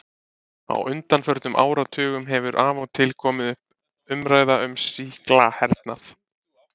Á undanförnum áratugum hefur af og til komið upp umræða um sýklahernað.